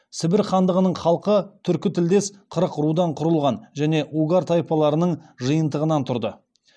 сібір хандығының халқы түркі тілдес қырық рудан құрылған және угар тайпаларының жиынтығынан тұрды